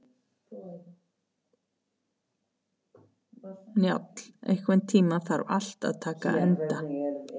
Njáll, einhvern tímann þarf allt að taka enda.